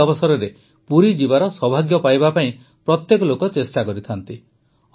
ଏହି ଅବସରରେ ପୁରୀ ଯିବାର ସୌଭାଗ୍ୟ ପାଇବା ପାଇଁ ପ୍ରତ୍ୟେକ ଲୋକ ଚେଷ୍ଟା କରିଥାନ୍ତି